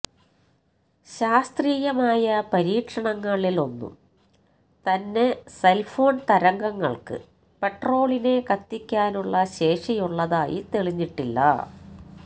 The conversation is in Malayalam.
ശാസ്ത്രീയമായ പരീക്ഷണങ്ങളിലൊന്നും തന്നെ സെല് ഫോണ് തരംഗങ്ങള്ക്ക് പെട്രോളിനെ കത്തിക്കാനുള്ള ശേഷിയുള്ളതായി തെളിഞ്ഞിട്ടില്ല